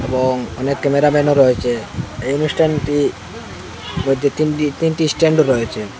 এবং অনেক ক্যামেরাম্যানও রয়েচে এই অনুষ্ঠানটি মধ্যে তিন তিনটি স্ট্যান্ড রয়েচে।